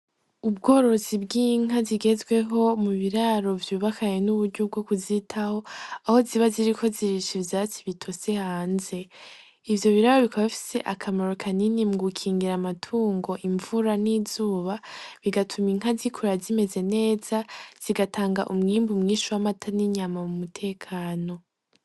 Ubworosi bw'inka zigezweho mu biraro vyubakanye n'uburya bwo kuzitaho aho ziba ziri ko zirisha ivyasi bitose hanze ivyo biraro bikabafise akamaro kanini mu gukingira amatungo imvura n'izuba bigatuma inka zikuruya zimeze neza zigatanga umwimbu mwinshi w'amataninya yama mu mutekano.